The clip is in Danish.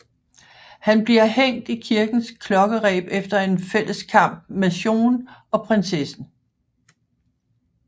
Han bliver hængt i kirkens klokkereb efter en fælleskamp med Chon og prinsessen